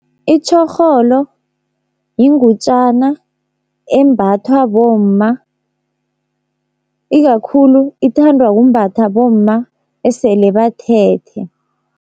Itjhorholo, yingutjana embathwa bomma ikakhulu ithandwa kumbathwa bomma esele bathethe.